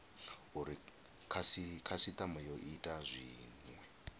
uri khasitama yo ita zwinwe